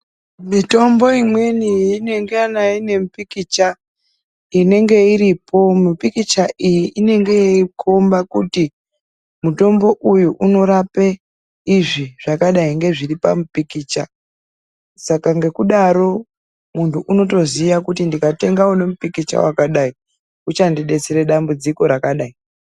Mitombo imweni inengana ine mupikicha inenge iripo. Mupikicha iyi inenge yeikomba kuti mutombo uyu unorape izvi zvakadai ngezviri pamupikicha. Saka ngokudaro munthu unotoziya kuti ndikatenga une mupikicha wakadai uchandidetsere dambudziko rakadai.